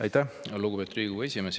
Aitäh, lugupeetud Riigikogu esimees!